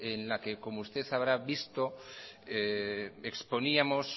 en la que como usted habrá visto exponíamos